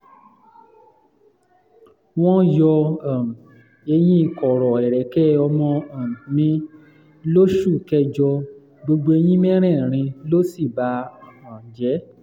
wọ́n yọ um eyín kọ̀rọ̀ ẹ̀rẹ̀kẹ́ ọmọ um mi lóṣù kẹjọ gbogbo eyín mẹ́rẹ̀ẹ̀rin ló sì bà um jẹ́